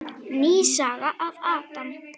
Ný saga af Adam.